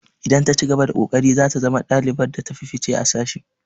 Idan ta cigaba da ƙoƙari zata zama ɗalibar da ta fi fice a sashin.